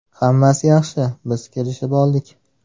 Hammasi yaxshi, biz kelishib oldik!